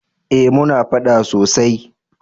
eh muna faɗa sosai